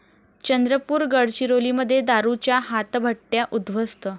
चंद्रपूर, गडचिरोलीमध्ये दारूच्या हातभट्ट्या उद्धवस्त